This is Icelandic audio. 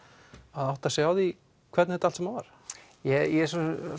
að átta sig á því hvernig þetta allt saman var ég er